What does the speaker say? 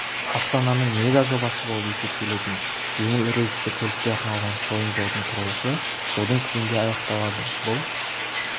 астананың мега жобасы болып есептелетін жеңіл рельсті көлікке арналған шойын жолдың құрылысы жылдың күзінде аяқталады бұл